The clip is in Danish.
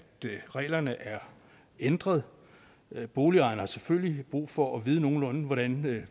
reglerne er ændret boligejerne har selvfølgelig brug for at vide nogenlunde hvordan